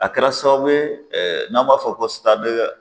A kɛra sababu ye n'an b'a fɔ ko